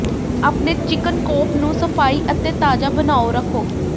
ਆਪਣੇ chicken coop ਨੂੰ ਸਫਾਈ ਅਤੇ ਤਾਜ਼ਾ ਬਣਾਉ ਰੱਖੋ